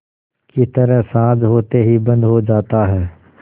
की तरह साँझ होते ही बंद हो जाता है